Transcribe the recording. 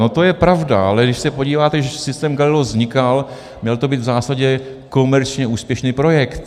No to je pravda, ale když se podíváte, když systém Galileo vznikal, měl to být v zásadě komerčně úspěšný projekt.